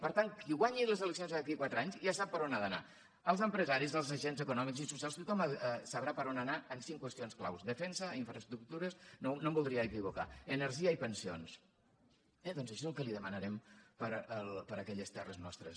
per tant qui guanyi les eleccions d’aquí a quatre anys ja sap per on ha d’anar els empresaris els agents econòmics i socials tothom sabrà per on anar en cinc qüestions clau defensa infraestructures no em voldria equivocar energia i pensions eh doncs això és el que li demanarem per a aquelles terres nostres